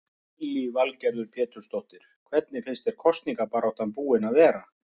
Lillý Valgerður Pétursdóttir: Hvernig finnst þér kosningabaráttan búin að vera?